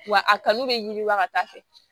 Wa a kanu bɛ yiriwa ka taa fɛ